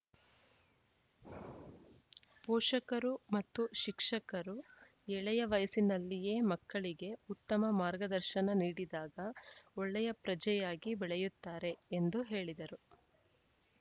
ಪೋಷಕರು ಮತ್ತು ಶಿಕ್ಷಕರು ಎಳೆಯ ವಯಸ್ಸಿನಲ್ಲಿಯೇ ಮಕ್ಕಳಿಗೆ ಉತ್ತಮ ಮಾರ್ಗದರ್ಶನ ನೀಡಿದಾಗ ಒಳ್ಳೆಯ ಪ್ರಜೆಯಾಗಿ ಬೆಳೆಯುತ್ತಾರೆ ಎಂದು ಹೇಳಿದರು